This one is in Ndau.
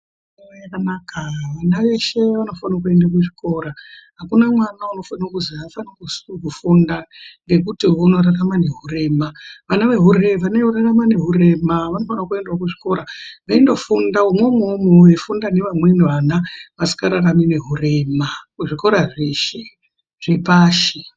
Zvakanaka ,vana veshe vanofanira kuenda kuchikora akuna mwana unosise kuzi afaniri kufunda, ngekuti unorarama neurema ,vanorarama neurema vanosise kuenda kuchikora veindofunda ,veifunda nevamweni vana vasikararami neurema kuzvikora zveshe.